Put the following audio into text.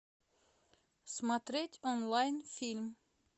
смотреть онлайн фильм